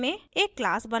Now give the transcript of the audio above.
एक नियत कार्य में